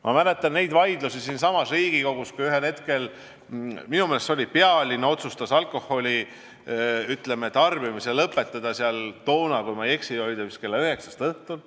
Ma mäletan vaidlusi siinsamas Riigikogus, kui ühel hetkel otsustati pealinnas alkoholimüük lõpetada, kui ma ei eksi, vist kella üheksast õhtul.